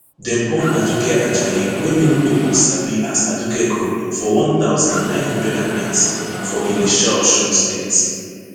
dem born aduke ajayi wey many pipo sabi as aduke gold for one thousand, nine hundred and ninety for ilesha osun state